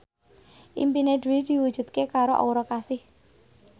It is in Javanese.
impine Dwi diwujudke karo Aura Kasih